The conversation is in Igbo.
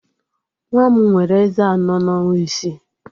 Nwa m nwere ezé anọ na ọnwa isii